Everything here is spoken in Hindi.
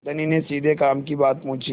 धनी ने सीधे काम की बात पूछी